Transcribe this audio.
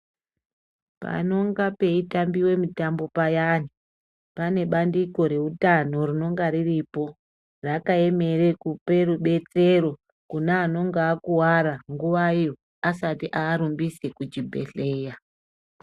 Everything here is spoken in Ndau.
Panonga peitambiwa mitambo zviyani pane bandiko rehutano ririrko rakapembedzana kune anenge akuwara nguwa iyo asati arumbisa muzvibhedhlera.